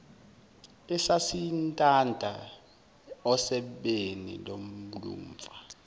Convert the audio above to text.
esasintanta osebeni lomfula